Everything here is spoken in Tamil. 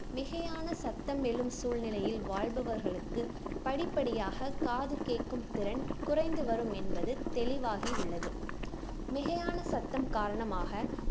மிகையான சத்தம் எழும் சூழ்நிலையில் வாழ்பவர்களுக்கு படிப்படியாக காது கேக்கும் திறன் குறைந்து வரும் என்பது தெளிவாகி உள்ளது மிகையான சத்தம் காரணமாக